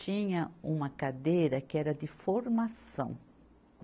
tinha uma cadeira que era de formação.